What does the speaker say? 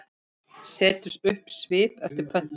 Setur upp svip eftir pöntun.